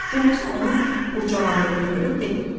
Nənəsi onun qurcalandığını görüb dedi: